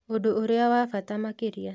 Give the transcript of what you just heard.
Ũndũ ũrĩa wa bata makĩria